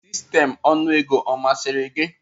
Sistemụ nnu ego ọ masịrị gị?